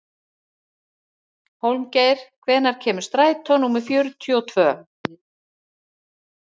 Hólmgeir, hvenær kemur strætó númer fjörutíu og tvö?